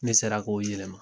Ne sera k'o yɛlɛma.